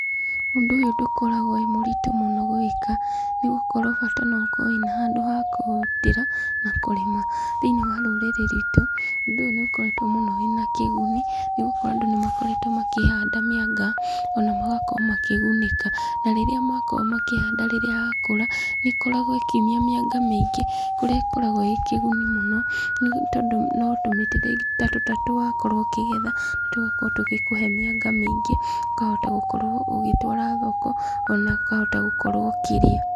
Ũndũ ũyũ ndũkoragwo wĩ mũritũ gwĩka, nĩgũkorwo bata nĩ ũkorwo wĩna handũ ha kũũrutĩra na kũrĩma , thĩiniĩ wa rũrĩrĩ rwitũ, ũndũ ũyũ nĩ ũkoretwo wĩna kĩguni , nĩgũkorwo andũ nĩ makoretwo makĩhanda mĩanga, ona magakorwo makĩgunĩka, na rĩrĩa makorwo makĩhanda yakũra, nĩ ĩkoragwo ĩkĩumia mĩanga mĩingĩ kũrĩa ĩkoragwo ĩ kĩguni mũno, nĩ tondũ ũgakorwo ũkĩgetha tũgakorwo tũgĩkũhe mĩanga mĩingĩ, ũkahota gũkorwo ũgĩtwara thoko, ona ũkahota gũkorwo ũkĩrĩa.